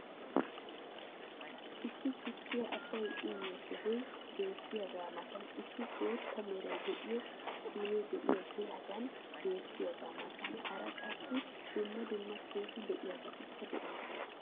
Issi tukkiya asay uyioyo sohoy beetiyaagaa matan issi bootta meray de'iyo siinee diyaagee hagan beetiyaagaa matan hara qassi dumma dumma keehi lo'iyaabatikka de'oosona.